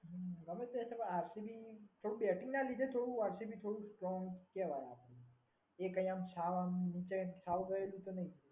ગમ્મે તે એટલે આરસીબી થોડું બેટિંગ ના લીધે થોડું આરસીબી થોડું સ્ટ્રોંગ કહેવાય આરસીબી. એ કઈ આમ સાવ આમ કહીએ એવી રીતે નહીં.